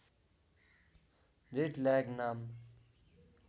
jet lag नाम